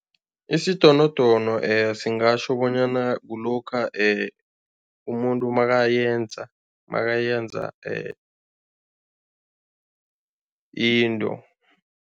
Isidonodono singatjho bonyana kulokha umuntu makayenza makayenza into.